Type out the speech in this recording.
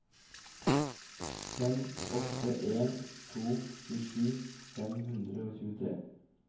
fem åtte en to tjuesju fem hundre og tjuetre